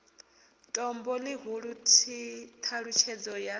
tombo ḽihulu t halutshedzo ya